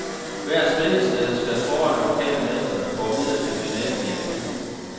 Hvert spillested skal kåre en lokal mester, der går videre til finalen i april.